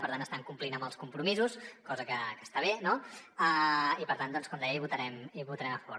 per tant estan complint amb els compromisos cosa que està bé no i per tant doncs com deia hi votarem a favor